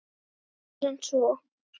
Síður en svo.